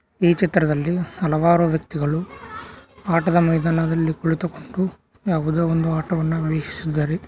ಈ ಚಿತ್ರದಲ್ಲಿ ಹಲವಾರು ವ್ಯಕ್ತಿಗಳು ಆಟದ ಮೈದಾನದಲ್ಲಿ ಕುಳಿತುಕೊಂಡು ಯಾವುದೋ ಒಂದು ಆಟವನ್ನು ವೀಕ್ಷಿಸುತ್ತಿದ್ದಾರೆ.